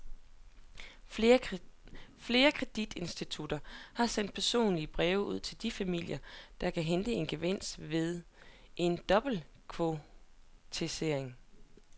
Flere kreditinstitutter har sendt personlige breve ud til de familier, der kan hente en gevinst ved en dobbeltkonvertering.